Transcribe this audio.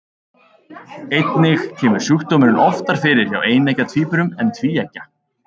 Einnig kemur sjúkdómurinn oftar fyrir hjá eineggja tvíburum en tvíeggja.